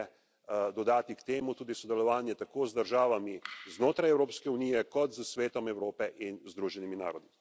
Vem pa in potrebno je dodati k temu tudi sodelovanje tako z državami znotraj Evropske unije kot s Svetom Evrope in Združenimi narodi.